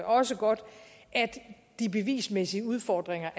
også godt er de bevismæssige udfordringer